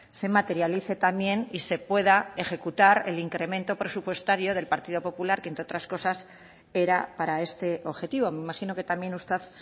se materialice también y se pueda ejecutar el incremento presupuestario del partido popular que entre otras cosas era para este objetivo me imagino que también usted